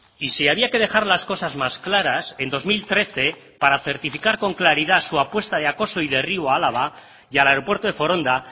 y si había que dejar las cosas más claras en dos mil trece para certificar con claridad su apuesta de acoso y derribo a álava y al aeropuerto de foronda